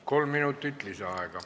Kolm minutit lisaaega.